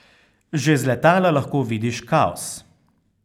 Že z letala lahko vidiš kaos.